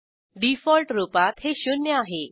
default रूपात हे शून्य आहे